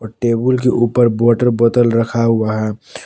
Table के ऊपर water बोतल रखा हुआ है।